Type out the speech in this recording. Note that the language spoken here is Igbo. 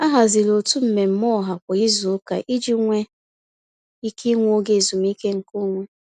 Ha haziri otu mmemme ọha kwa izuụka iji nwe ike ịnwe oge ezumiike nke onwe.